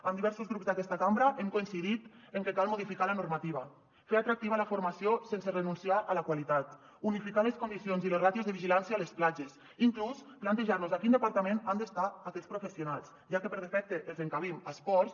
amb diversos grups d’aquesta cambra hem coincidit en que cal modificar la normativa fer atractiva la formació sense renunciar a la qualitat unificar les condicions i les ràtios de vigilància a les platges inclús plantejar nos a quin departament han d’estar aquests professionals ja que per defecte els encabim a esports